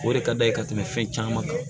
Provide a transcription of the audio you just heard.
O de ka d'a ye ka tɛmɛ fɛn caman kan